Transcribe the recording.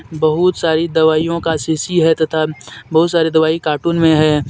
बहुत सारी दवाईयां का शीशी है तथा बहुत सारी दवाई कार्टून में है.